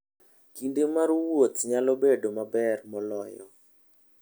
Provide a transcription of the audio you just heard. Kinde mar wuoth nyalo bedo maber moloyo.